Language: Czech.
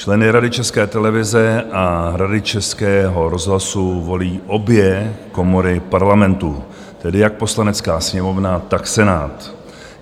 Členy Rady České televize a Rady Českého rozhlasu volí obě komory Parlamentu, tedy jak Poslanecká sněmovna, tak Senát.